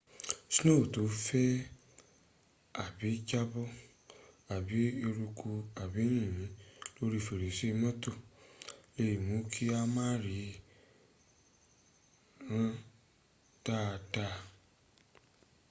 sno to n fe abi jabo abi eruku abi yinyin lori ferese moto le mu ki a ma riran daa daa